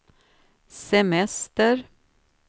semester